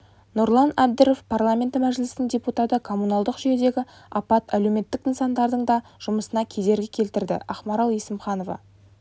нұрлан әбдіров парламенті мәжілісінің депутаты коммуналдық жүйедегі апат әлеуметтік нысандардың да жұмысына кедергі келтірді ақмарал есімханова